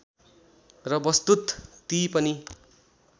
र वस्तुत ती पनि